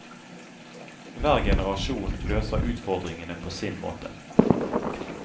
Hver generasjon løser utfordringene på sin måte.